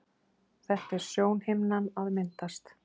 Þetta er sjónhimnan að myndast.